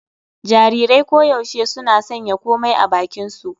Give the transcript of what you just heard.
Jarirai koyaushe suna sanya komai a bakinsu.